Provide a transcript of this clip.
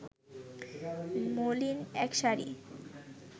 মলিন এক শাড়ি